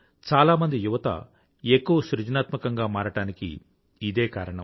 చాలామంది యువత ఎక్కువ సృజనాత్మకంగా మారడానికి ఇదే కారణం